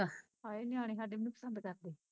ਹਾਏ ਨਿਆਣੇ ਸਾਡੇ ਵੀ ਨੀ ਪਸੰਦ ਕਰਦੇ